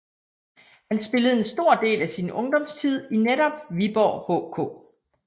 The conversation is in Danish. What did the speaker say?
Han spillede en stor del af sin ungdomstid i netop Viborg HK